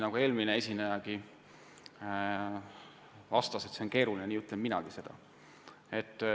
Nagu eelmine esineja vastas, et see on keeruline, nii ütlen seda minagi.